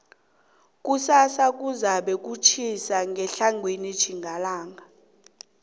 kusasa batjho kuzabe kutjhisa ngetlhagwini tjhingalanga